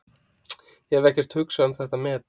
Hef ekkert hugsað um þetta met.